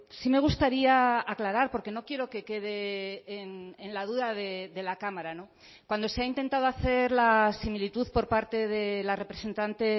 sí me gustaría aclarar porque no quiero que quede en la duda de la cámara cuando se ha intentado hacer la similitud por parte de la representante